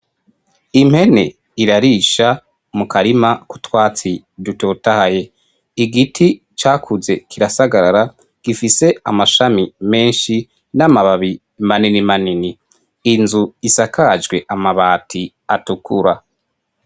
Impene irarisha mu karima k'utwatsi dutotahaye. Igiti cakuze kirasagarara gifise amashami menshi n'amababi manini manini inzu isakajwe amabati atukura.